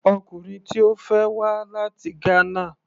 Ọkùnrin tí Ó fẹ́ wá láti Ghana.